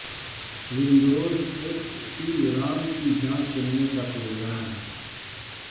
Windows X P RAM کی جانچ کرنے کا پروگرام